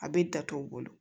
A bɛ datugu o bolo